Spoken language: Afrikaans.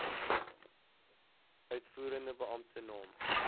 uitvoerende beampte naam